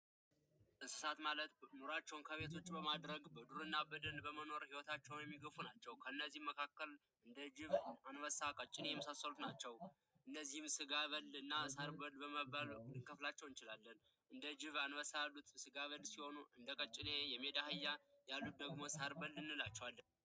የዱር እንስሳት ማለት ሂወታቸው በዱር በማድረግ ኑሮአቸውን የሚገፉ ናቸው። ከእነዚህም መካከል አንበሳ ቀጭኔ የመሳሰሉት ናቸው እነዚህም ስጋ በል እና ሳር በል በማለት ልንከፍላቸው እንችላለን። እንደ ጅብ ፣አንበሳ ያሉት ስጋ በል ሲሆኑ እንደ ቀጭኔ ፣የሜዳ አህያ ያሉት ደግሞ ሳር በል እንላቸዋለን።